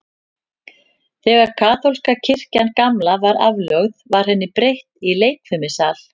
Þegar kaþólska kirkjan gamla var aflögð, var henni breytt í leikfimisal.